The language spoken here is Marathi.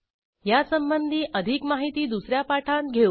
ह्यासंबंधी अधिक माहिती दुस या पाठांत घेऊ